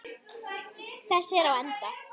Þessi er á enda.